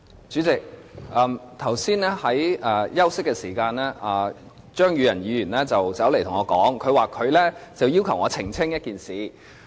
主席，剛才休息的時候，張宇人議員走過來，要求我澄清一件事。